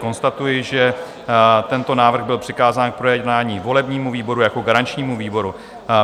Konstatuji, že tento návrh byl přikázán k projednání volebnímu výboru jako garančnímu výboru.